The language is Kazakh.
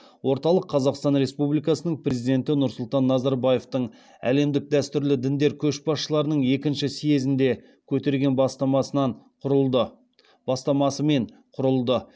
орталық қазақстан республикасының президенті нұрсұлтан назарбаевтың әлемдік дәстүрлі діндер көшбасшыларының екінші съезінде көтерген бастамасымен құрылды